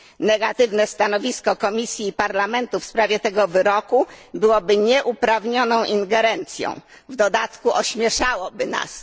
Negatywne stanowisko Komisji i Parlamentu w sprawie tego wyroku byłoby nieuprawnioną ingerencją, a w dodatku ośmieszałoby nas.